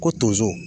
Ko tonso